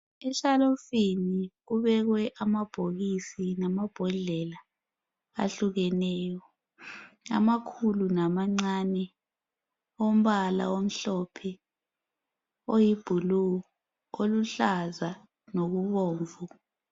Eshelufini kubekwe amabhokisi lalabhodlela ahlukeneyo amakhulu lamancane ombala omhlophe loyi bhulu oluhlaza lokubomvu .